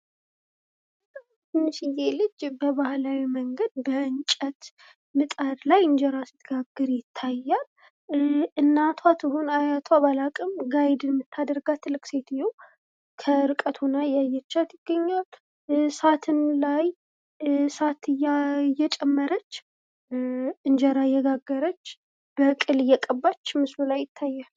ትንሽዬ ልጅ በባህላዊ መንገድ በእንጨት ምጣድ ላይ እንጀራ ስትጋግር ይታያል። እናቷ ትሁን አያቷ ባላውቅም ጋይድ የምታደርጋት ትልቅ ሴትዮ ከእርቀት ሆና እያየቻት ይገኛል ። እሳቱም ላይ እሳት እየጨመረች እንጀራ እየጋገረች በቅል እየቀባች ምስሉ ላይ ይታያል።